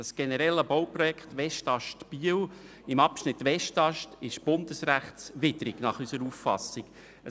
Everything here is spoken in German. Das generelle Bauprojekt Westast/Biel im Abschnitt Westast ist nach unserer Auffassung bundesrechtswidrig.